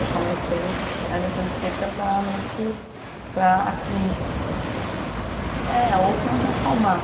Eu comecei a ir no centro Espírita para meio que, para... Obter respostas. É, ou para me acalmar.